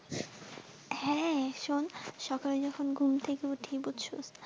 হ্যাঁ শোন্ সকালে এ যখন ঘুম থেকে উঠি বুঝছস।